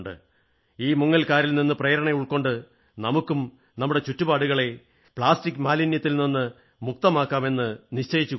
ഈ മുങ്ങൽകാരിൽ നിന്ന് പ്രേരണ ഉൾക്കൊണ്ട് നമുക്കും നമ്മുടെ ചുറ്റുപാടുകളെ പ്ലാസ്റ്റിക് മാലിന്യത്തിൽ നിന്ന് മുക്തമാക്കാം എന്നു നിശ്ചയിച്ചുകൂടേ